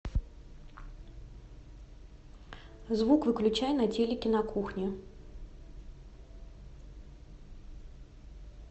звук выключай на телике на кухне